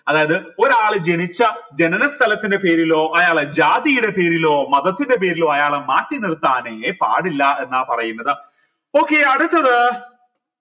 അതായത് ഒരാൾ ജനിച്ച ജനന സ്ഥലത്തിൻറെ പേരിലോ അയാളെ ജാതിയുടെ പേരിലോ മതത്തിൻറെ പേരിലോ അയാളെ മാറ്റി നിർത്താനെ പാടില്ല എന്നാ പറയുന്നത് okay അടുത്തത്